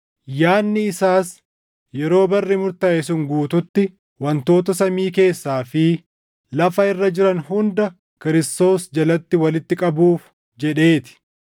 yaadni isaas yeroo barri murtaaʼe sun guutuutti wantoota samii keessaa fi lafa irra jiran hunda Kiristoos jalatti walitti qabuuf jedhee ti.